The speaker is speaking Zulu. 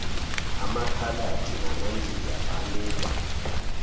amakhaladi namandiya banikwa